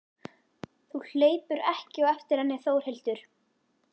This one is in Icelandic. Þú hleypur ekki á eftir henni Þórhildur.